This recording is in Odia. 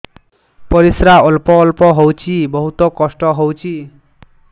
ପରିଶ୍ରା ଅଳ୍ପ ଅଳ୍ପ ହଉଚି ବହୁତ କଷ୍ଟ ହଉଚି